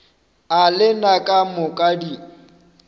a lena ka moka di